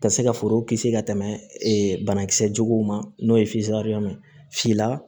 Ka se ka foro kisi ka tɛmɛ banakisɛ juguw ma n'o ye ye sila